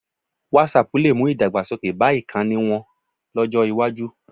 Whatapp lè mú ìdàgbasókè bá ìkànnì wọn lọ́jọ́ iwájú